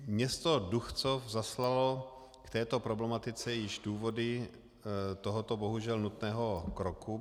Město Duchcov zaslalo k této problematice již důvody tohoto bohužel nutného kroku.